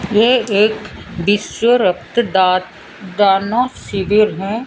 ये एक विश्व रक्तदान शिविर है।